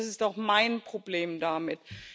Und das ist auch mein Problem damit.